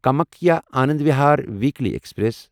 Kamakhya Anand Vihar weekly express